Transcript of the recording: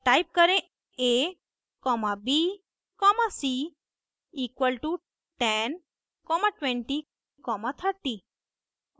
type करें a comma b comma c equal to 10 comma 20 comma 30